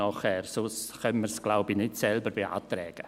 ich glaube, wir können es sonst nicht selber beantragen.